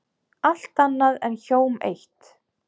Allt annað er hjóm eitt.